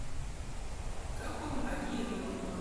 ka kwuom adieri wamorega hainya